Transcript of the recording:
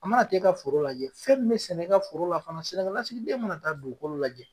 A mana t'e ka foro lajɛ fɛn min be sɛnɛ e ka foro la fana sɛnɛkɛlasigiden mana taa dugukolo lajɛ